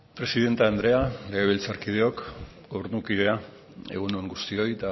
presidente andrea legebiltzarkideok gobernukidea egun on guztioi